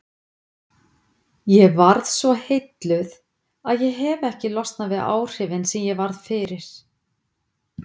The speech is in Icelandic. Ég varð svo heilluð að ég hefi ekki losnað við áhrifin sem ég varð fyrir.